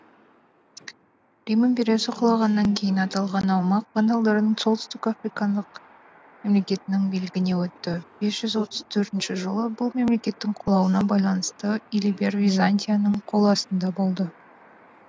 рим империясы құлағаннан кейін аталған аумақ вандалдардың солтүстік африкандық мемлекетінің билігіне өтті бес жүз отыз төртінші жылы бұл мемлекеттің құлауына байланысты илиберр византияның қол астында болды